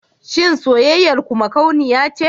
Shin soyayyar ku makauniya ce?